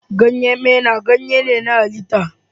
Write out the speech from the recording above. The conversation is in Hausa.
Ganyen maina ganye ne na halitta.